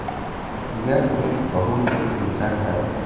यह एक बहोत ही ऊंचा घर है।